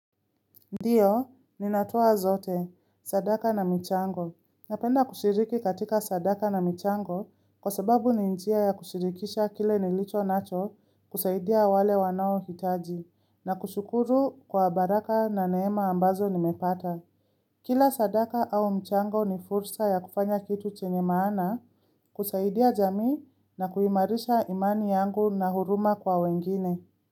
Ndiyo, ninatoa zote, sadaka na michango. Napenda kushiriki katika sadaka na michango kwa sababu ni njia ya kushirikisha kile nilicho nacho kusaidia wale wanao hitaji na kushukuru kwa baraka na neema ambazo nimepata. Kila sadaka au michango ni fursa ya kufanya kitu chenye maana kusaidia jami na kuhimarisha imani yangu na huruma kwa wengine.